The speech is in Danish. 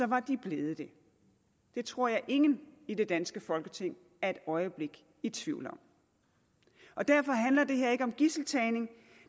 var de blevet det det tror jeg ingen i det danske folketing er et øjeblik i tvivl om og derfor handler det her ikke om gidseltagning